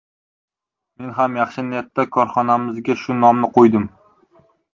Men ham yaxshi niyatda korxonamizga shu nomni qo‘ydim.